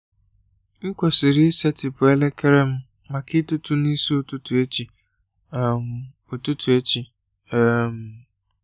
M kwesịrị isetịpụ elekere m maka ịtụtụ n’isi ụtụtụ echi. um ụtụtụ echi. um